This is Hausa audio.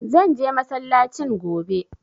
Zan je masallacin gobe.